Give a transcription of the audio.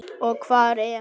Og hvar er hann?